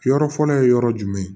Yɔrɔ fɔlɔ ye yɔrɔ jumɛn